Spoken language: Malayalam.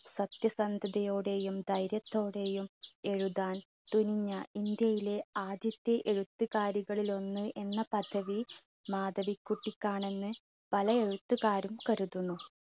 സത്യസന്ധതയോടെയും ധൈര്യത്തോടെയും എഴുതാൻ തുനിഞ്ഞ ഇന്ത്യയിലെ ആദ്യത്തെ എഴുത്തുകാരികളിലൊന്ന് എന്ന പദവി മാധവികുട്ടിക്കാണെന്ന് പല എഴുത്തുകാരും കരുതുന്നു.